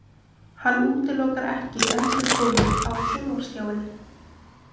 Hann útilokar ekki endurkomu á sjónvarpsskjáinn